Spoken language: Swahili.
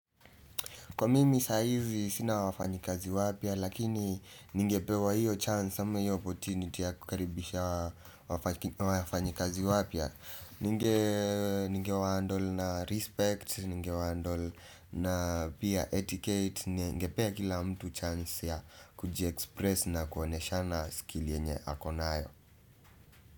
Kwa mimi sahizi, sina wafanyikazi wapya lakini ningepewa hiyo chance, ama hiyo opportunity, ya kukaribisha wafanyikazi wapya ningee ninge wahandel na respect, ninge wahandle na pia etiquette, ningepea kila mtu chance ya kujiexpress na kuoneshana skill yenye ako nayo.